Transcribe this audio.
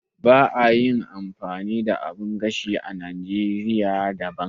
Ba a yi amfani da abin gashi na oven a Najeriya da ba.